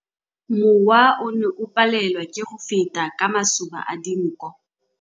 Mowa o ne o palelwa ke go feta ka masoba a dinko.